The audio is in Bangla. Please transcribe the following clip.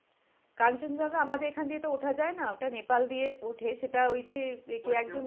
কাঞ্চনজঙ্ঘা আমাদের এখান দিয়ে তো ওঠা যায় না? ওটা নেপাল দিয়ে ওঠে। সেটা ওই যে কে একজন